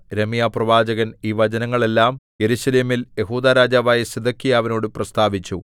യിരെമ്യാപ്രവാചകൻ ഈ വചനങ്ങളെല്ലാം യെരൂശലേമിൽ യെഹൂദാ രാജാവായ സിദെക്കീയാവിനോട് പ്രസ്താവിച്ചു